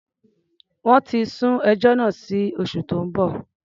Wọ́n ti sún ẹjọ́ náà sí oṣù tó ń bọ̀.